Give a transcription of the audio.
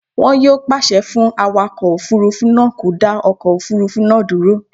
Wọn yóò pàṣẹ fún awakọ̀ òfurufú náà kó dá ọkọ̀ òfurufú náà dúró